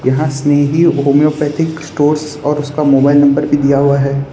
यहां Snehi homeopathic stores और उसका मोबाइल नंबर भी दिया हुआ है।